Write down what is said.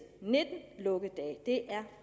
nitten lukkedage det er